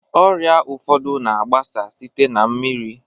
Ọrịa ụfọdụ na-agbasa site na mmiri.